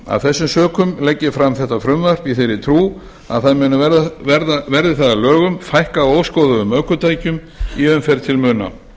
af þessum sökum legg ég fram þetta frumvarp í þeirri trú að það muni verði það að lögum fækka óskoðuðum ökutækjum í umferð til muna